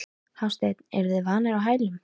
Hafsteinn: Eruð þið vanir á hælum?